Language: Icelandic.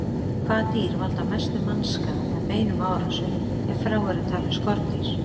Hvaða dýr valda mestum mannskaða með beinum árásum, ef frá eru talin skordýr?